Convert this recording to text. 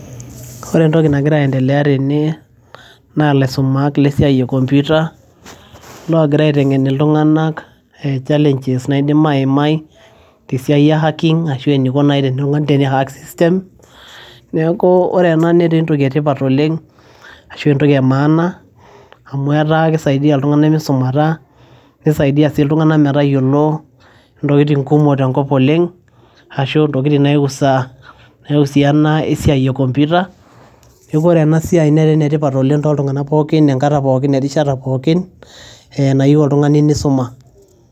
ore entoki nagira aendeleya tene naa ilaisumak lesiai e computer logira aiteng'en iltung'anak challenges naidim aimai tesiai e hacking ashu eniko naaji tenetung'ani teni hack system neeku ore ena netaa entoki etipat oleng ashu entoki e maana amu etaa kisaidia iltung'anak misumata nisaidia sii iltung'anak metayiolo intokitin kumok tenkop oleng ashu intokitin naiusa naiusiana esiai e computer neeku ore ena siai netaa enetipat oleng toltung'anak pookin enkata pookin erishata pookin ee nayieu oltung'ani nisuma.